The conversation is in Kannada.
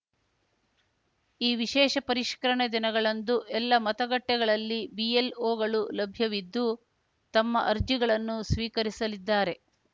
ಈ ವಿಶೇಷ ಪರಿಷ್ಕರಣೆ ದಿನಗಳಂದು ಎಲ್ಲ ಮತಗಟ್ಟೆಗಳಲ್ಲಿ ಬಿಎಲ್‌ಒಗಳು ಲಭ್ಯವಿದ್ದು ತಮ್ಮ ಅರ್ಜಿಗಳನ್ನು ಸ್ವೀಕರಿಸಲಿದ್ದಾರೆ